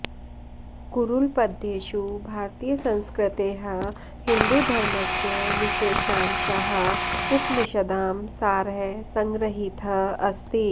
कुरुळ्पद्येषु भारतीयसंस्कृतेः हिन्दुधर्मस्य विशेषांशाः उपनिषदां सारः सङ्ग्रहीतः अस्ति